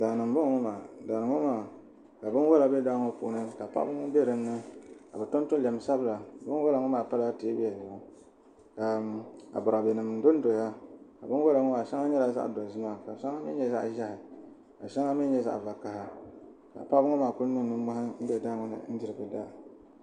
Daani n bɔŋɔ maa daani ŋɔ maa ka bini wola bɛ daa ŋɔ puuni ka paɣaba ŋɔ bɛ dinni ka bi tonto lɛm sabila bini wola ŋɔ maa pala tɛɛbuli zuɣu ka abɔrabɛ nim do n doya bini wola ŋɔ maa shɛŋa yɛla zaɣi dozima ka shɛŋa mi yɛ zaɣi zɛhi ka shɛŋa mi yɛ zaɣi vakaha ka paɣaba ŋɔ maa kuli niŋ nini moɛhi n diri bi daa.